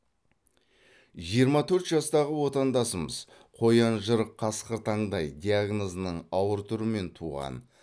жиырма төрт жастағы отандасымыз қоян жырық қасқыр таңдай диагнозының ауыр түрімен туған